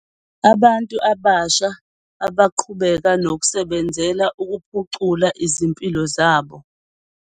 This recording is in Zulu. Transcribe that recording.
.abantu abasha abaqhubeka nokusebenzela ukuphucula izimpilo zabo.